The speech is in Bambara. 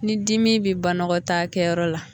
Ni dimi bɛ banɔgɔtaakɛyɔrɔ la